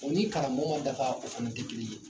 O ni karamɔgɔ ma dafa o fana tɛ kelen ye